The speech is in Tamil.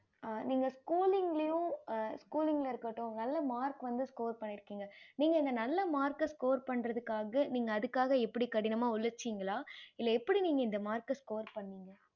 ஆஹ் நீங்க schooling ளையும் schooling இருக்கட்டும் நல்ல mark வந்து score பன்னிருகிங்க நீங்க அந்த நல்ல mark score பன்றதுகாக நீங்க அதுகாக எப்படி கடினமா உலைச்சிங்களா இல்ல எப்படி இந்த mark நீங்க score பண்ணிங்க